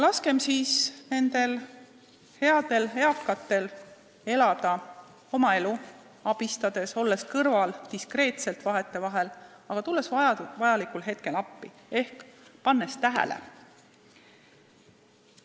Laskem nendel headel eakatel elada oma elu, abistades ja olles kõrval, vahetevahel diskreetselt, aga tulles vajalikul hetkel appi ehk pannes tähele.